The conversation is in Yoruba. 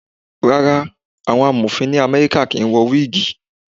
Rárá, àwọn Amọ̀fin ni Amẹ́ríkà kì ń wọ wígìì.